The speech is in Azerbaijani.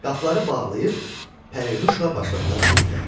Qapıları bağlayıb pərinüşla başladılar keyfə.